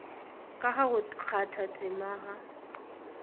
ka ga go kgathatema ga